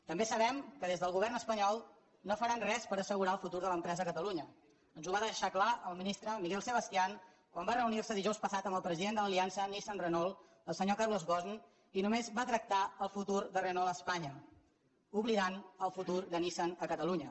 també sabem que des del govern espanyol no faran res per assegurar el futur de l’empresa a catalunya ens ho va deixar clar el ministre miguel sebastián quan va reunir se dijous passat amb el president de l’aliança nissan renault el senyor carlos ghosn i només va tractar el futur de renault a espanya i va oblidar el futur de nissan a catalunya